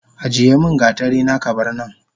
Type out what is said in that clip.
Ajiyemin gatarina kabarnan